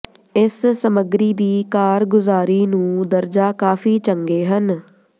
ਇਸ ਸਮੱਗਰੀ ਦੀ ਕਾਰਗੁਜ਼ਾਰੀ ਨੂੰ ਦਰਜਾ ਕਾਫ਼ੀ ਚੰਗੇ ਹਨ